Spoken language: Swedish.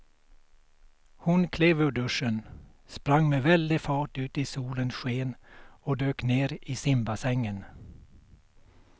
Hon klev ur duschen, sprang med väldig fart ut i solens sken och dök ner i simbassängen.